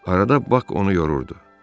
Arada Bax onu yorurdu.